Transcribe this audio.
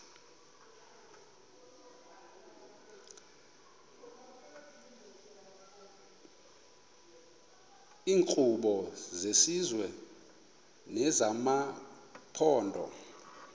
iinkqubo zesizwe nezamaphondo